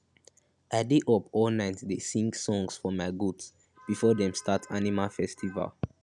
i dey up all night dey sing songs for my goat before them start animal festival